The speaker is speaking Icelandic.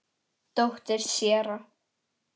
Dóttir séra